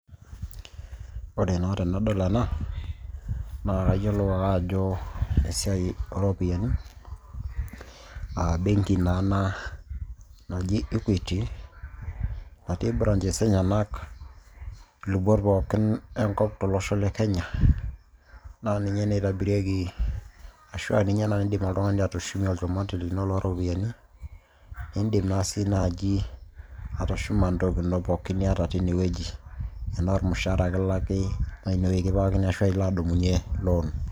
ore naa tenadol ena naa kayiolou ake ajo esiai ooropiyiani aa benki naa ena naji equity natii branches enyenak ilubot pookin enkop tolosho le kenya naa ninye naa eitobirieki ahua ninye naa indim oltung'ani atushumie olchumati lino loo ropiyiani indim naa sii naaji atushuma ntoki ino pookon niata teine wueji enaa ormushahara kilaki naa inewueji kipikakini arashu ilo adumunyie lon.